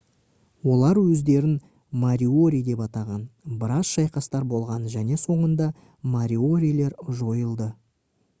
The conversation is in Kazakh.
олар өздерін мориори деп атаған біраз шайқастар болған және соңында мориорилер жойылды